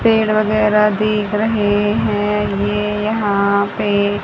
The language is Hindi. पेड़ वगैरा दिख रहे हैं ये यहां पे--